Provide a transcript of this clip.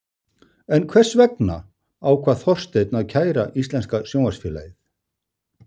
En hvers vegna ákvað Þorsteinn að kæra Íslenska Sjónvarpsfélagið?